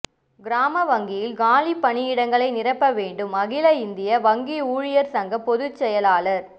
கிராம வங்கிகளில் காலிப் பணியிடங்களை நிரப்ப வேண்டும்அகில இந்திய வங்கி ஊழியா்கள் சங்க பொதுச் செயலாளா்